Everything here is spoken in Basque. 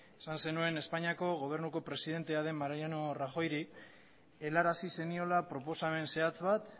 esan zenuen espainiako gobernuko presidentea den mariano rajoy ri helarazi zeniola proposamen zehatz bat